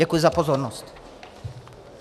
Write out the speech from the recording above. Děkuji za pozornost.